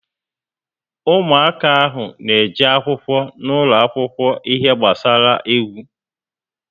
Ụmụaka ahụ na eje akwụkwọ n'ulo akwụkwọ ihe gbasara égwu